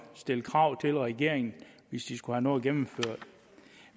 stille krav til regeringen hvis de skulle have noget gennemført